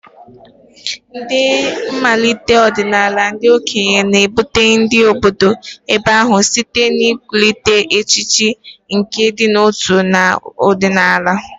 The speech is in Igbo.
Na mmalite ọdịnala, ndị okenye na-ebute ndị obodo ebe ahụ site n'ịkwalite echiche nke ịdị n'otu na ọdịnala.